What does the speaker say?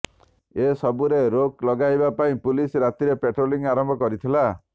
ଏସବୁରେ ରୋକ୍ ଲଗାଇବା ପାଇଁ ପୁଲିସ୍ ରାତିରେ ପ୍ୟାଟ୍ରୋଲିଂ ଆରମ୍ଭ କରିଥିଲା